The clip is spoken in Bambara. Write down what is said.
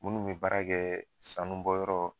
Munnu be baara kɛɛ sanu bɔyɔrɔ